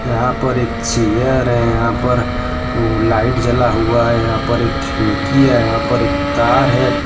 यहां पर एक चेयर है यहां पर लाइट जला हुआ है यहां पर एक खिड़की है यहां पर एक तार है।